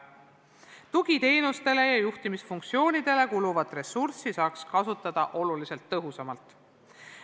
Tugiteenustele ja juhtimisfunktsioonidele kuluvat ressurssi saaks kasutada märksa tõhusamalt.